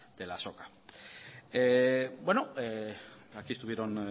de la azoka bueno aquí estuvieron